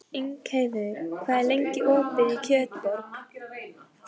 Ingheiður, hvað er lengi opið í Kjötborg?